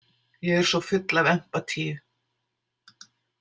Ég er svo full af empatíu.